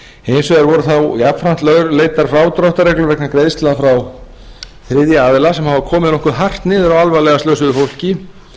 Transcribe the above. hins vegar voru þá jafnframt lögleiddar frádráttarreglur vegna greiðslna frá þriðja aðila sem hafa komið nokkuð hart niður á alvarlega slösuðu fólki